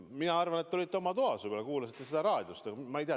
Ma arvan, et te olite oma toas võib-olla, ehk kuulasite seda raadiost või ma ei tea.